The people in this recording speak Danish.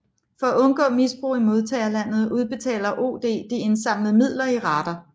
For at undgå misbrug i modtagerlandet udbetaler OD de indsamlede midler i rater